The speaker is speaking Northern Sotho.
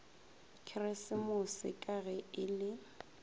keresemose ka ge e le